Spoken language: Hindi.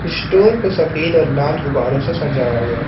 स्टोर को सफेद और लाल गुब्बारे से सजाया गया है।